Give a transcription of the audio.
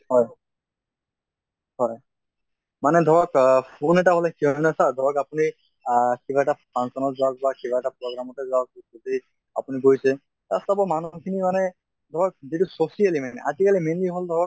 হয় হয় মানে ধৰক অহ phone এটা হʼলে কি হয় ন sir ধৰক আপুনি আহ কিবা এটা function ত যাওঁক বা কিবা এটা program তে যাওঁক আপুনি গৈছে তাত চাব মানুহ খিনি মানে ধৰক যিটো socially মেনে আজি কালি mainly ধৰক